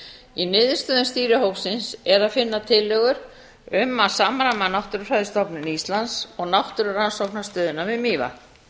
í niðurstöðum stýrihópsins er að finna tillögur um að samræma náttúrufræðistofnun íslands og náttúrurannsóknastöðin við mývatn